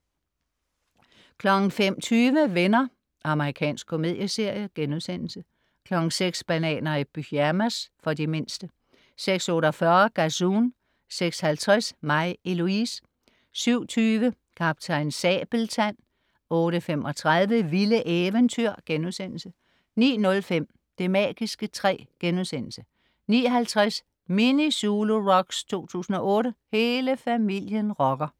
05.20 Venner. Amerikansk komedieserie* 06.00 Bananer i pyjamas. For de mindste 06.48 Gazoon 06.50 Mig, Eloise 07.20 Kaptajn Sabeltand 08.35 Vilde eventyr* 09.05 Det magiske træ* 09.50 Mini Zulu Rocks 2008. Hele familien rocker!